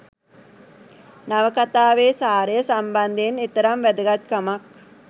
නවකතාවේ සාරය සම්බන්ධයෙන් එතරම් වැදගත් කමක්